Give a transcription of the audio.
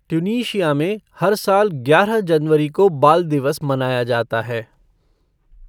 Tunisia में हर साल ग्यारह जनवरी को बाल दिवस मनाया जाता है।